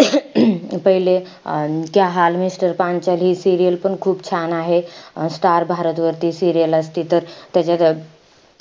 पहिले अं क्या हाल मिस्टर पांचाली हे serial पण खूप छान आहे. स्टार भारत वर ती serial असेत. त त्याच्यात